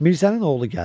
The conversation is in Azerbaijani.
Mirzənin oğlu gəldi.